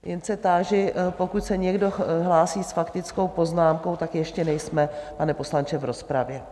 Jen se táži - pokud se někdo hlásí s faktickou poznámkou, tak ještě nejsme, pane poslanče, v rozpravě.